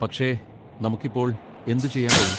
പക്ഷെ നമുക്ക് ഇപ്പോൾ എന്തുചെയ്യാൻ കഴിയും?